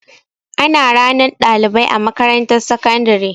Ana ranar ɗalibai a makarantar sakandare.